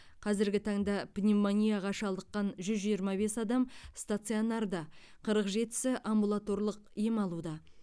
қазіргі таңда пневмонияға шалдыққан жүз жиырма бес адам стационарда қырық жетісі амбулаторлық ем алуда